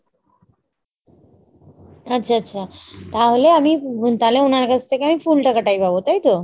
আচ্ছা আচ্ছা। তাহলে আমি, তালে ওনার কাছ থেকে আমি full টাকাটাই পাবো তাই তো ?